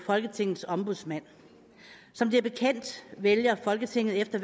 folketingets ombudsmand som det er bekendt vælger folketinget efter